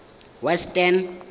western